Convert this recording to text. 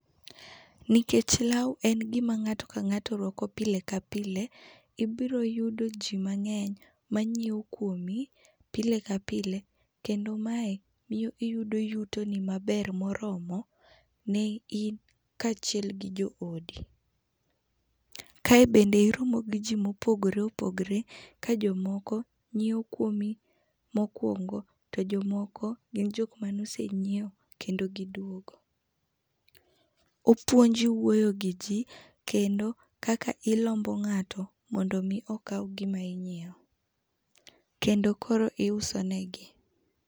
Nikech lao en gima ngato ka ngato rwako pile ka pile, ibiro yudo jii mangeny manyiew kuomi pile ka pile kendo mae miyo iyudo yutoni maber maromo ne in kachiel gi jo odi. Kae bende iromo gi jii mopogore opogore ka jomoko nyiewo kuomi mokuongo to jomoko gin jokma nosenyiewo kendo giduogo. Opuonji wuoyo gi jii kendo kaka ilombo ngato mondo mi okaw gima inyiew kendo koro iuso negi